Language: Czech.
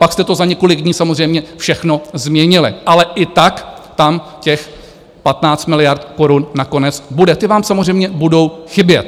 Pak jste to za několik dní samozřejmě všechno změnili, ale i tak tam těch 15 miliard korun nakonec bude, ty vám samozřejmě budou chybět.